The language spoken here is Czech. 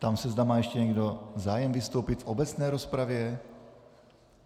Ptám se, zda má ještě někdo zájem vystoupit v obecné rozpravě.